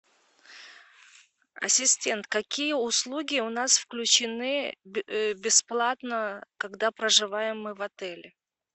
ассистент какие услуги у нас включены бесплатно когда проживаем мы в отеле